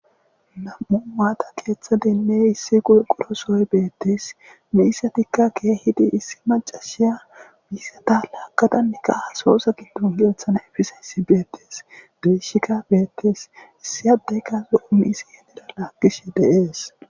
nam7u maata keeththa denne issi qulqurosooy beettes miisatikka keehidi issi macashiya miisata laagqadanneka hasoosa giddon yelthana efisa issi beettes dishika beettes issiyadeyka zo7o miisi yenera laakkishe deees